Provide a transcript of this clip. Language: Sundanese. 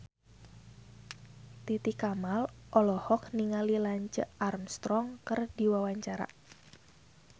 Titi Kamal olohok ningali Lance Armstrong keur diwawancara